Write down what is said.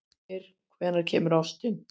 Brímir, hvenær kemur ásinn?